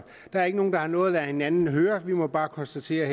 der er ikke nogen der har noget at lade hinanden høre vi må bare konstatere at